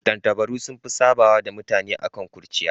Tattabaru sun fi sabawa da mutane akan kurciya.